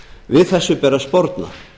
við þessu ber að sporna